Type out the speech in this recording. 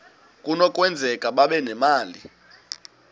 kunokwenzeka babe nemali